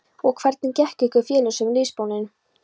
Og hvernig gekk ykkur félögum liðsbónin?